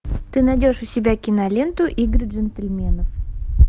ты найдешь у себя киноленту игры джентльменов